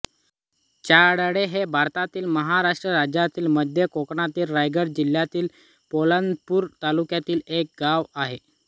चांडळे हे भारतातील महाराष्ट्र राज्यातील मध्य कोकणातील रायगड जिल्ह्यातील पोलादपूर तालुक्यातील एक गाव आहे